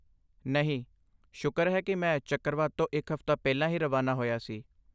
ਨਹੀਂ, ਸ਼ੁਕਰ ਹੈ ਕਿ ਮੈਂ ਚੱਕਰਵਾਤ ਤੋਂ ਇੱਕ ਹਫ਼ਤਾ ਪਹਿਲਾਂ ਹੀ ਰਵਾਨਾ ਹੋਇਆ ਸੀ।